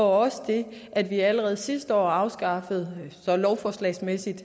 og også det at vi allerede sidste år afskaffede lovforslagsmæssigt